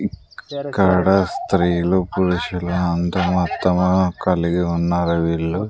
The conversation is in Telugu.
ఇక్కడ స్త్రీలు పురుషులు అందరం అత్త మామ కలిగి ఉన్నారా వీళ్ళు